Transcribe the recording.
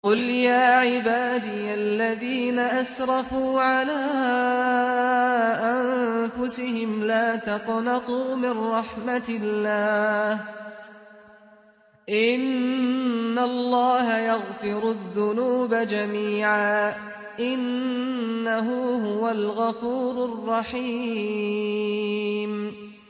۞ قُلْ يَا عِبَادِيَ الَّذِينَ أَسْرَفُوا عَلَىٰ أَنفُسِهِمْ لَا تَقْنَطُوا مِن رَّحْمَةِ اللَّهِ ۚ إِنَّ اللَّهَ يَغْفِرُ الذُّنُوبَ جَمِيعًا ۚ إِنَّهُ هُوَ الْغَفُورُ الرَّحِيمُ